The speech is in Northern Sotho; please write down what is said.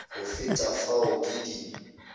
go feta fao ke di